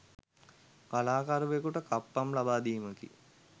කලාකරුවෙකුට කප්පම් ලබාදීමකි